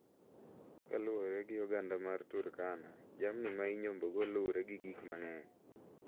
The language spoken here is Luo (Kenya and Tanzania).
Kaluwore gi oganda mar Turkana, jamni ma inyombogo luwre gi gik mang`eny.